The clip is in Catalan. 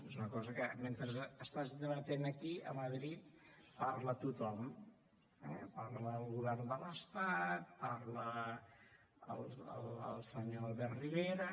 és una cosa que mentre estàs debatent aquí a madrid parla tothom eh parla el govern de l’estat parla el senyor albert rivera